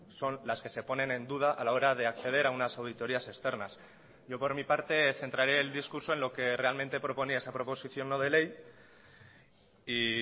son las que se ponen en duda a la hora de acceder a unas auditorías externas yo por mi parte centraré el discurso en lo que realmente proponía esa proposición no de ley y